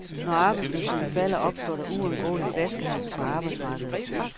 Når arbejdsløsheden falder, opstår der uundgåeligt flaskehalse på arbejdsmarkedet.